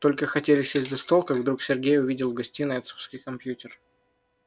только хотели сесть за стол как вдруг сергей увидел в гостиной отцовский компьютер